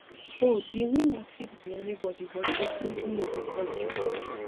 oh di winner fit be anybody but definitely no be crossdresser